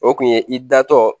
O kun ye i datɔ